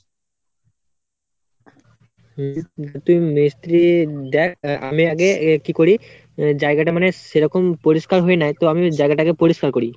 হম তুই মিস্ত্রি দেখ, আমি আগে কি করি, জায়গাটা মানে সেরকম পরিষ্কার হয়ে নাই, তো আমি আগে জায়গাটা পরিষ্কার করি